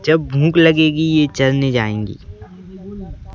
जब भूख लगेगी ये चरने जाएँगी ।